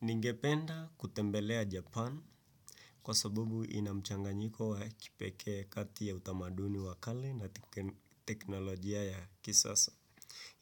Ningependa kutembelea Japan kwa sababu ina mchanganyiko wa kipekee kati ya utamaduni wakale na teknolojia ya kisasa.